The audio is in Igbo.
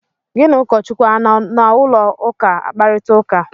Gị na ụkọchukwu anọ na ụlọụka akparịta ụka?